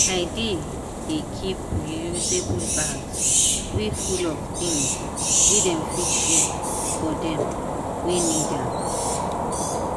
i dey dey keep reusable bags wey full of things wey dem fit share for dem wey need am.